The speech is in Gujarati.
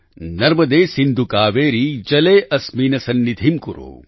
નર્મદે સિન્ધુ કાવેરી જલે અસ્મિન્ સન્નિધિં કુરૂ